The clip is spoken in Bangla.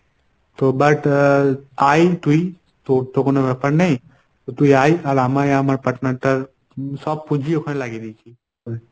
তো but আহ আয় তুই তোর তো কোনো ব্যপার নেই। তুই আয় আর আমায় আমার partner টার সব পুঁজি ওখানে লাগিয়ে দিয়েছি।